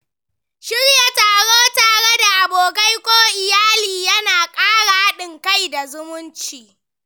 Shirya taro tare da abokai ko iyali yana ƙara haɗin kai da zumunci.